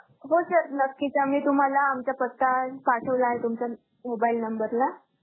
हो sir नक्कीच. आम्ही तुम्हांला आमचा पत्ता पाठवला आहे तुमच्या mobile number ला.